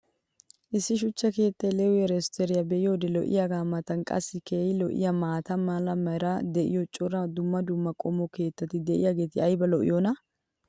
issi shuchcha keettaa leewi riisorttiya be'iyoode lo'iyaagaa matan qassi keehi lo'iyaa maata mala meray diyo cora dumma dumma qommo keettati diyaageti ayba lo'iyoonaa?